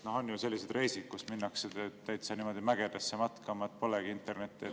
On ju selliseid reise, kus minnakse täitsa mägedesse matkama, polegi internetti.